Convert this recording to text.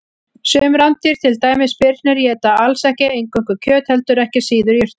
Sum rándýr, til dæmis birnir, éta alls ekki eingöngu kjöt heldur ekki síður jurtir.